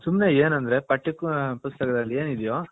ಸುಮ್ನೆ ಏನಂದ್ರೆ ಪಟ್ಯ ಪುಸ್ತಕದಲ್ಲಿ ಏನ್ ಇದ್ಯೋ .